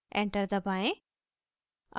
enter दबाएं